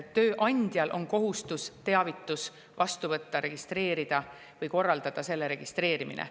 Tööandjal on kohustus teavitus vastu võtta, registreerida või korraldada selle registreerimine.